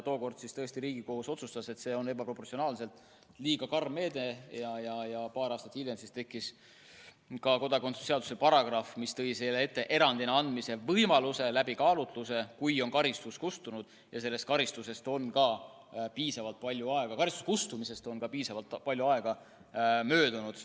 Tookord tõesti Riigikohus otsustas, et see on ebaproportsionaalselt karm meede, ja mõni aasta hiljem lisati kodakondsuse seadusesse paragrahv, mis nägi ette erandina kodakondsuse andmise võimaluse läbi kaalutluse, juhul kui karistus on kustunud ja karistuse kustumisest on piisavalt palju aega möödunud.